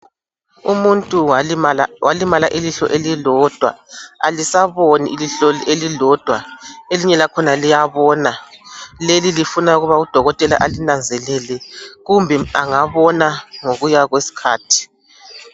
Umuntu walimala ilihlo elilodwa alisaboni ilihlo elilodwa elinye lakhona liyabona lelilifuna ukuthi udokotela ukuthi alinanzelele kumbe angabona ngokuya kwesikhathi.